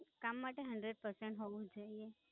કામ માટે hundred percent હોવું જ જોઈએ.